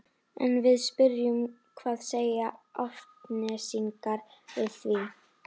En við spyrjum hvað segja Álftnesingar við því?